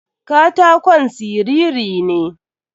Katakon siriri ne.